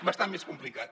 bastant més complicat